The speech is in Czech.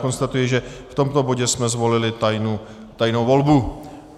Konstatuji, že v tomto bodě jsme zvolili tajnou volbu.